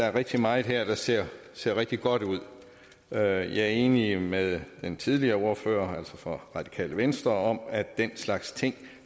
er rigtig meget her der ser ser rigtig godt ud jeg er enig med den tidligere ordfører altså ordføreren for radikale venstre om at den slags ting